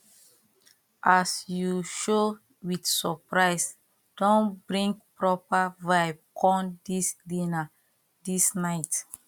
as you show with surprise don bring proper vibe come this dinner this night